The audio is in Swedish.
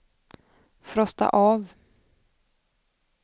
frosta av